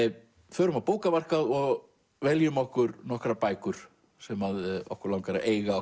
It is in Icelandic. förum á bókamarkað og veljum okkur nokkrar bækur sem okkur langar að eiga